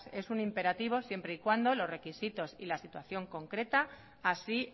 es un imperativo siempre y cuando los requisitos y la situación concreta así